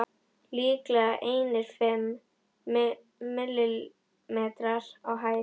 Líklega einir fimm millimetrar á hæð.